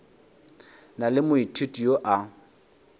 na le moithuti yo a